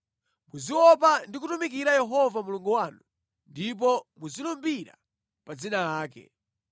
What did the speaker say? Muziopa Yehova Mulungu wanu ndi kumutumikira Iye yekha, ndipo muzilumbira pa dzina lake.